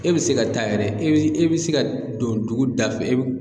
E be se ka taa yɛrɛ e be e bi se ka don dugu da fɛ e b